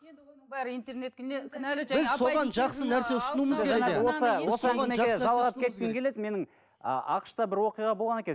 осы әңгімеге жалғап кеткім келеді менің ақш та бір оқиға болған екен